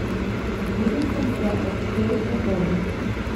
Zbudil sem se ob štirih popoldne.